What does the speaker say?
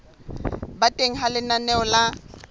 ba teng ha lenaneo la